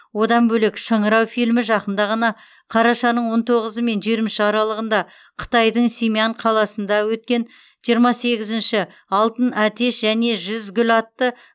одан бөлек шыңырау фильмі жақында ғана қарашаның он тоғызы мен жиырма үш аралығында қытайдың сямэнь қаласында өткен жиырма сегізінші алтын әтеш және жүз гүл атты